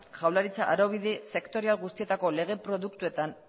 jaurlaritza araubide sektorial guztietako lege produktuetan